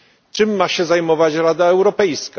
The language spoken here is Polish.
Czym ma się zajmować Rada Europejska?